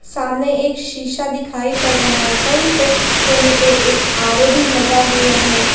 सामने एक शीशा दिखाई पड़ रहा है वहीं पे कोने पे एक आर_ओ भी लगा हुआ है।